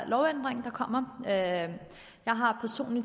lovændring der kommer her jeg har